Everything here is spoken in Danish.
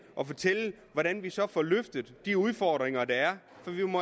og fortælle hvordan vi så får løftet de udfordringer at der er